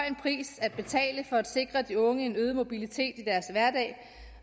en pris at betale for at sikre de unge en øget mobilitet i deres hverdag